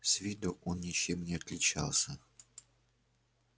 с виду он ничем не отличался